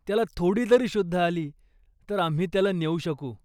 त्याला थोडी जरी शुद्ध आली, तर आम्ही त्याला नेऊ शकू.